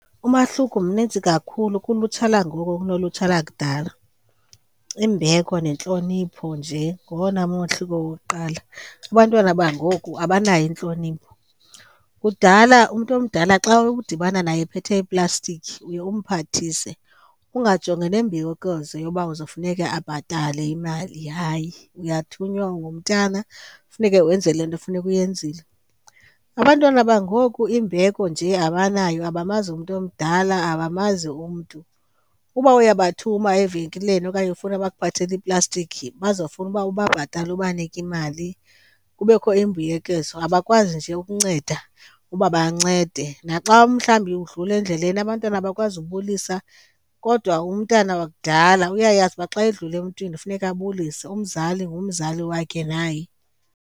Umahluko mnintsi kakhulu kulutsha langoku kunolutsha lakudala. Imbeko nentlonipho nje ngowona mahluko wokuqala. Abantwana bangoku abanayo intlonipho, kudala umntu omdala xa udibana naye ephethe iplastiki uye umphathise ungajongi nembuyekezo yoba uzofuneka abhatale imali. Hayi, uyathunywa ungumntana funeke wenze le nto funeke uyenzile. Abantwana bangoku, imbeko nje abanayo abamazi umntu omdala, abamazi umntu. Uba uyabathuma evenkileni okanye ufuna bakuthathele iplastiki bazofuna uba ubhatala ubanike imali, kubekho imbuyekezo, abakwazi nje ukunceda uba bancede. Naxa umhlawumbi udlula endleleni abantwana bakwazi ubulisa, kodwa umntana wakudala uyayazi uba xa edlula emntwini funeka abulise, umzali ngumzali wakhe naye.